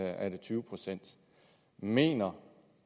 er det tyve procent mener